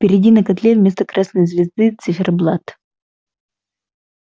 впереди на котле вместо красной звезды циферблат